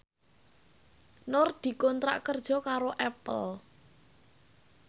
Nur dikontrak kerja karo Apple